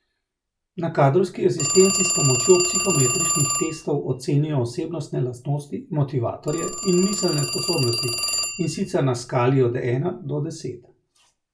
Na Kadrovski asistenci s pomočjo psihometričnih testov ocenijo osebnostne lastnosti, motivatorje in miselne sposobnosti, in sicer na skali od ena do deset.